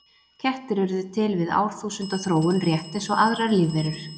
Kettir urðu til við árþúsunda þróun rétt eins og aðrar lífverur.